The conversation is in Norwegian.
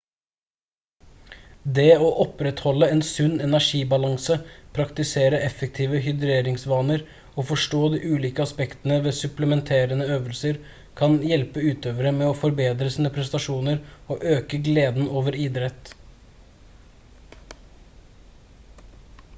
det å opprettholde en sunn energibalanse praktisere effektive hydreringsvaner og forstå de ulike aspektene ved supplementerende øvelser kan hjelpe utøvere med å forbedre sine prestasjoner og øke gleden over idretten